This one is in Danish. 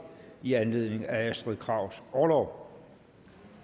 i anledning af astrid krags orlov